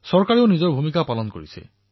চৰকাৰেও নিজৰ ভূমিকা পালন কৰি আছে